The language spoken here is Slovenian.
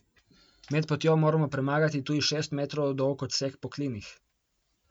Med potjo morajo premagati tudi šest metrov dolg odsek po klinih.